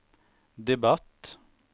debatt